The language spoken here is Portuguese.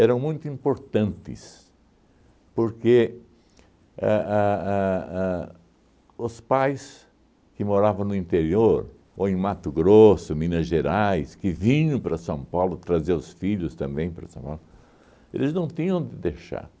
eram muito importantes, porque a a a os pais que moravam no interior, ou em Mato Grosso, Minas Gerais, que vinham para São Paulo trazer os filhos também para São Paulo, eles não tinham onde deixar.